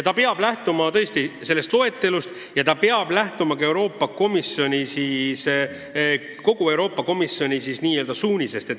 Ja lähtuma peab tõesti sellest loetelust ning ka Euroopa Komisjoni üldistest regionaalabi suunistest.